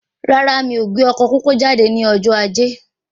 Rárá, mí kò gbé ọkọ pópó jáde ní ọjọ ajé